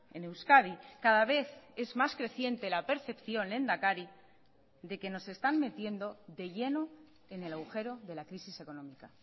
en euskadi cada vez es más creciente la percepción lehendakari de que nos están metiendo de lleno en el agujero de la crisis económica